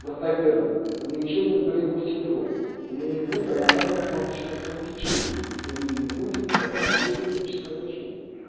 достоверно у неё ещё один болевой синдром у неё не будет аномальных маточных кровотечений то у неё не будет и показаний для хирургического лечения